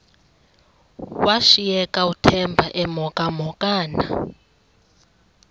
washiyeka uthemba emhokamhokana